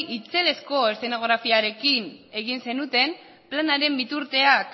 itzelezko eszenografiarekin egin zenuten planaren bertuteak